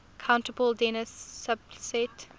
countable dense subset